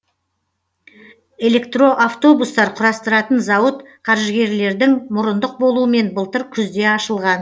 электроавтобустар құрастыратын зауыт қаржыгерлердің мұрындық болуымен былтыр күзде ашылған